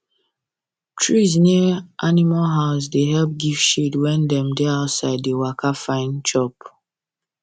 trees near animal house da help give shade when dem da outside da waka find chop